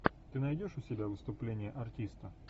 ты найдешь у себя выступление артиста